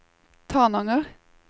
Tananger